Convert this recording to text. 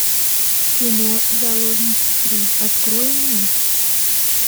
кино заложницы три открой мне